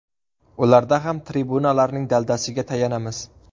Ularda ham tribunalarning daldasiga tayanamiz.